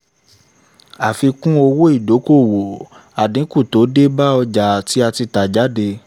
àfikún owó ìdókòwò: àdínkù tó dé bá àwọn ọjà tí a tẹ̀ jáde